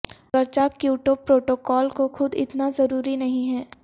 اگرچہ Kyoto protocol کو خود اتنا ضروری نہیں ہے